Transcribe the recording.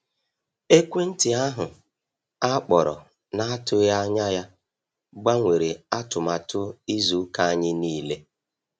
Ekwentị ahụ akpọrọ na-atụghị anya ya gbanwere atụmatụ izu ụka anyị niile.